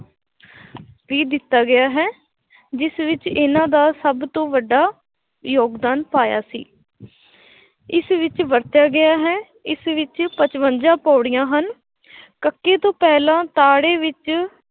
ਵੀ ਦਿੱਤਾ ਗਿਆ ਹੈ ਜਿਸ ਵਿੱਚ ਇਹਨਾਂ ਦਾ ਸਭ ਤੋਂ ਵੱਡਾ ਯੋਗਦਾਨ ਪਾਇਆ ਸੀ ਇਸ ਵਿੱਚ ਵਰਤਿਆ ਗਿਆ ਹੈ ਇਸ ਵਿੱਚ ਪਚਵੰਜਾ ਪੌੜੀਆਂ ਹਨ ਕੱਕੇ ਤੋਂ ਪਹਿਲਾਂ ਤਾੜੇ ਵਿੱਚ